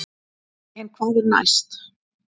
En hvað er næst?